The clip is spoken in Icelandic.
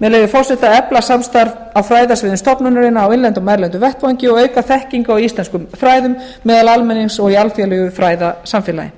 með leyfi forseta efla samstarf á fræðasviðum stofnunarinnar á innlendum og erlendum vettvangi og auka þekkingu á íslenskum fræðum meðal almennings og í alþjóðlegu fræðasamfélagi